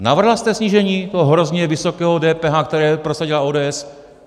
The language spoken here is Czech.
Navrhla jste snížení toho hrozně vysokého DPH, které prosadila ODS?